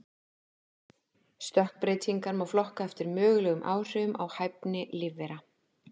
Stökkbreytingar má flokka eftir mögulegum áhrifum á hæfni lífvera.